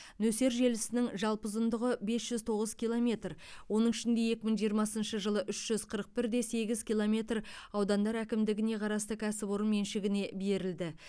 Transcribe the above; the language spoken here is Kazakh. нөсер желісінің жалпы ұзындығы бес жүз тоғыз километр оның ішінде екі мың жиырмасыншы жылы үш жүз қырық бірде сегіз километр аудандар әкімдігіне қарасты кәсіпорын меншігіне берілді